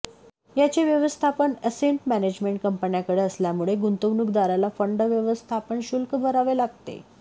याचे व्यवस्थापन asset management कंपन्यांकडे असल्यामुळे गुंतवणूकदाराला फंड व्यवस्थापन शुल्क भरावे लागते